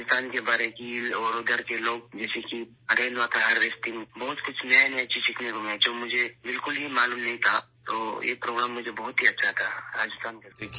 راجستھان کی بڑی بڑی جھیلیں اور وہاں کے لوگ کیسے رین واٹر ہارویسٹنگ کرتے ہیں ، بہت کچھ نیا نیا سیکھنے کو ملا ، جو مجھے بالکل ہی معلوم نہیں تھا تو یہ پروگرام میرے لیے بہت ہی اچھا تھا ، راجستھان کا دورہ